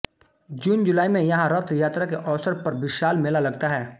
जूनजुलाई में यहाँ रथयात्रा के अवसर पर विशाल मेला लगता है